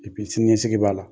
sini ɲɛsigi b'a la;